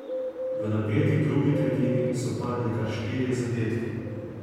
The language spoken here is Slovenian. V napeti drugi tretjini so padli kar štirje zadetki.